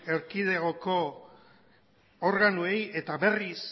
erkidegoko organoei eta berriz